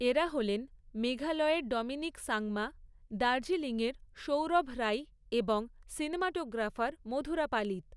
এরা হলেন মেঘালয়ের ডমিনিক সাংমা, দার্জিলিংয়ের সৌরভ রাই এবং সিনেমাটোগ্রাফার মধুরা পালিত।